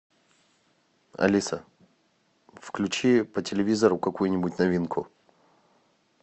алиса включи по телевизору какую нибудь новинку